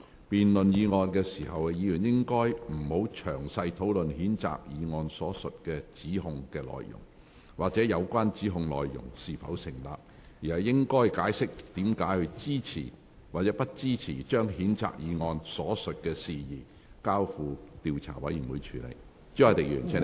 辯論該議案時，議員不應詳細討論譴責議案所述的指控內容，或有關指控是否成立，而應解釋為何支持或不支持將譴責議案所述的事宜，交付調查委員會處理。